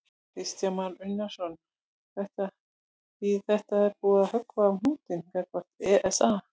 Kristján Már Unnarsson: Þýðir þetta að það er búið að höggva á hnútinn gagnvart ESA?